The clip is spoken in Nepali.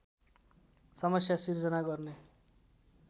समस्या सिर्जना गर्ने